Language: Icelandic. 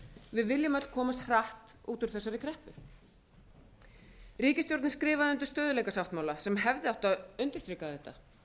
við viljum öll komast hratt út úr þessari kreppu ríkisstjórnin skrifaði undir stöðugleikasáttmála sem hefði átt að undirstrika þetta